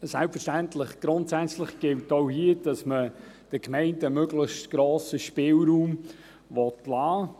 Selbstverständlich, grundsätzlich gilt auch hier, dass man den Gemeinden möglichst grossen Spielraum lassen will.